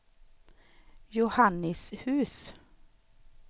Johannishus